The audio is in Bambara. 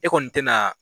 E kɔni tɛna